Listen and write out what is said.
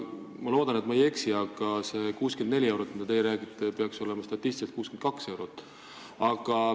Ma loodan, et ma ei eksi, aga see 64 eurot, millest teie räägite, peaks statistiliselt olema 62 eurot.